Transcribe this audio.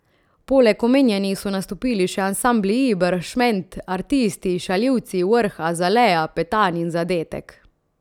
Poleg omenjenih so nastopili še ansambli Iber, Šment, Artisti, Šaljivci, Vrh, Azalea, Petan in Zadetek.